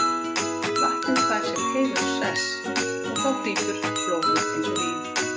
Vatnið fær sinn heiðurssess og þá flýtur blóðið eins og vín.